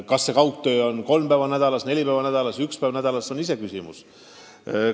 Kas kaugtööd tehakse kolm päeva nädalas, neli päeva nädalas või üks päev nädalas, see on läbirääkimiste küsimus.